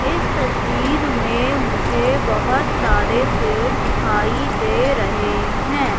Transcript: इस तस्वीर में मुझे बहोत सारे पेड़ दिखाई दे रहे हैं।